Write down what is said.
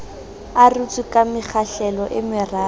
arotswe ka mekgahlelo e meraro